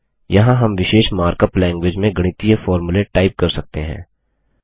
यहाँ हम विशेष मार्कअप लैंग्विज में गणितीय फोर्मुले टाइप कर सकते हैं